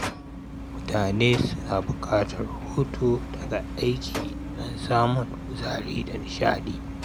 Mutane suna buƙatar hutu daga aiki don samun kuzari da nishaɗi.